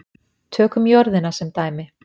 Tökum jörðina sem dæmi.